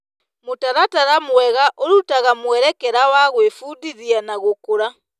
Mũtaratara mwega ũrutaga mwerekera wa gwĩbundithia na gũkũra.